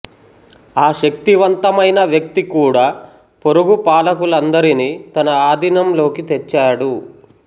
ఆ శక్తివంతమైన వ్యక్తి కూడా పొరుగు పాలకులందరినీ తన ఆధీనంలోకి తెచ్చాడు